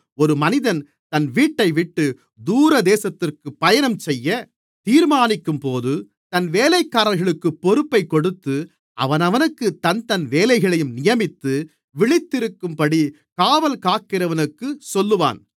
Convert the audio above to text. ஒரு மனிதன் தன் வீட்டைவிட்டு தூரதேசத்திற்கு பயணம் செய்யத் தீர்மானிக்கும்போது தன் வேலைக்காரர்களுக்கு பொறுப்பைக் கொடுத்து அவனவனுக்குத் தன்தன் வேலைகளையும் நியமித்து விழித்திருக்கும்படி காவல்காக்கிறவனுக்குச் சொல்லுவான்